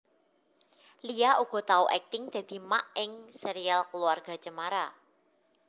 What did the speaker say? Lia uga tau akting dadi Mak ing Serial Keluarga Cemara